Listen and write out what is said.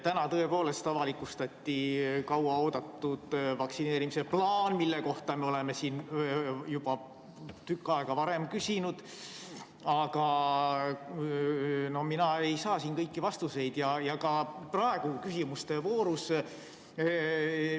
Täna tõepoolest avalikustati kauaoodatud vaktsineerimise plaan, mille kohta me oleme siin juba tükk aega varem küsinud, aga mina ei saa sealt kõiki vastuseid ega ka praegu küsimuste voorust.